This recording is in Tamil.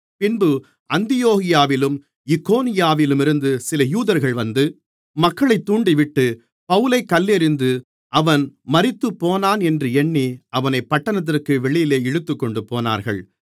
பின்பு அந்தியோகியாவிலும் இக்கோனியாவிலுமிருந்து சில யூதர்கள் வந்து மக்களைத் தூண்டிவிட்டு பவுலைக் கல்லெறிந்து அவன் மரித்துப்போனான் என்று எண்ணி அவனைப் பட்டணத்திற்கு வெளியிலே இழுத்துக்கொண்டுபோனார்கள்